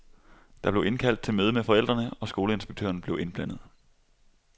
Der blev indkaldt til møde med forældrene, og skoleinspektøren blev indblandet.